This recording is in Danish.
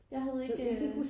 Jeg havde ikke